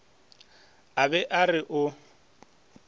a be a re o